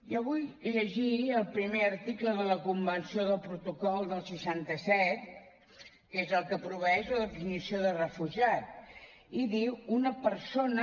jo vull llegir el primer article de la convenció del protocol del seixanta set que és el que proveeix la definició de refugiat i diu una persona